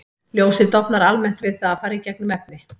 Ljósið dofnar almennt við að fara í gegnum efni.